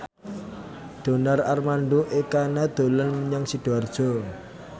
Donar Armando Ekana dolan menyang Sidoarjo